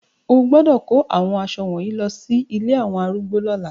O gbọ́dọ̀ kó àwọn aṣọ wọ̀nyí lọsí ilé àwọn arúgbó lọ́la.